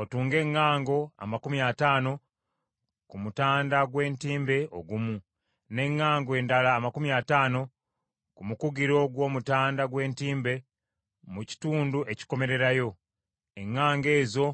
Otunge eŋŋango amakumi ataano ku mutanda gw’entimbe ogumu, n’eŋŋango endala amakumi ataano ku mukugiro gw’omutanda gw’entimbe mu kitundu ekikomererayo, eŋŋango ezo